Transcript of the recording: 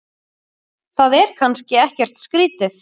Það er kannski ekkert skrýtið?